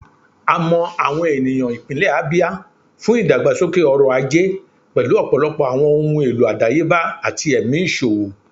A mọ awọn eniyan ipinlẹ Abia fun idagbasoke ọrọ-aje, pẹlu ọpọlọpọ awọn ohun elo adayeba ati ẹmi iṣowo.